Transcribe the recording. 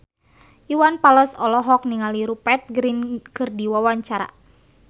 Iwan Fals olohok ningali Rupert Grin keur diwawancara